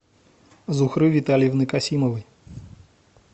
зухры витальевны касимовой